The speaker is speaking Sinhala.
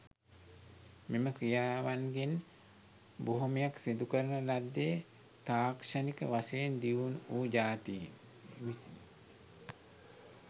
මෙම ක්‍රියාවන්ගෙන් බොහොමයක් සිදුකරන ලද්දේ තාක්ෂණික වශයෙන් දියුණු වූ ජාතීන් විසිනි.